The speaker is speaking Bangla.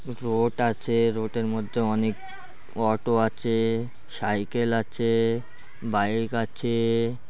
রোড আছে রোড এর মধ্যে অনেক অটো আছে সাইকেল আছে বাইক আছে-এ